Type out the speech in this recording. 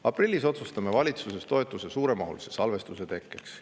Aprillis otsustame valitsuses toetuse suuremahulise salvestuse tekkeks.